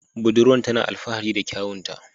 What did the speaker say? Budurwan tana alfahari da kyawunta.